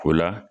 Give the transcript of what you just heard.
O la